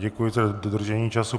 Děkuji za dodržení času.